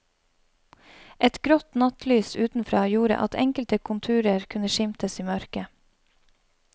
Et grått nattlys utenfra gjorde at enkelte konturer kunne skimtes i mørket.